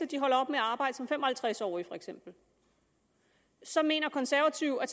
de holder op med arbejde som fem og halvtreds årige så mener konservative at